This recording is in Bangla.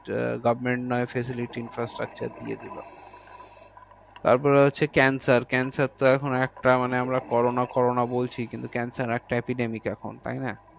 government নয় facility infrastructure দিয়ে দিলো। তারপরে হচ্ছে cancer cancer তো এখন একটা মানে আমরা corona corona বলছি, কিন্তু cancer একটা epidemic এখন। তাইনা?